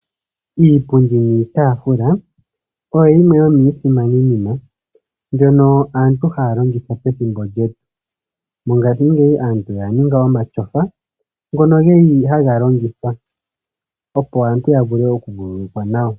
Iipundi niitafula oyo yimwe yomiisimani nima mbyono aantu haya longitha pethimbo lyetu. Mongashingeyi aantu oya ninga omatyofa ngono geli haga longithwa opo aantu ya vule oku vululukwa nawa.